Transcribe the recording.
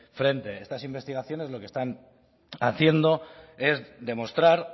frente estas investigaciones lo que están haciendo es demostrar